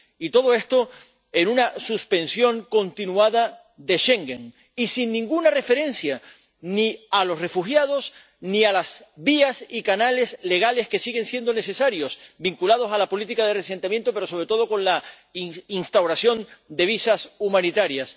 Y todo esto en una suspensión continuada de Schengen, y sin ninguna referencia ni a los refugiados, ni a las vías y canales legales que siguen siendo necesarios, vinculados a la política de reasentamiento, pero sobre todo con la instauración de visados humanitarios.